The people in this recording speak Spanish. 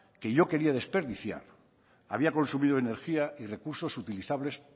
que yo quería desperdiciar había consumido energía y recursos utilizables